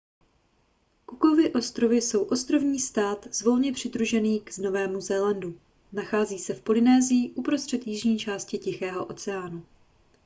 cookovy ostrovy jsou ostrovní stát volně přidružený k novému zélandu nachází se v polynésii uprostřed jižní části tichého oceánu